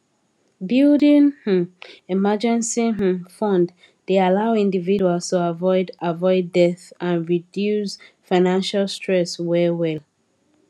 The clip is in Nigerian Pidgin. building um emergency um fund dey allow individuals to avoid avoid debt and reduce financial stress well well